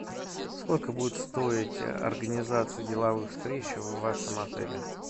сколько будет стоить организация деловых встреч в вашем отеле